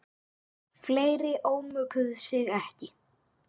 Fleiri ómökuðu sig ekki.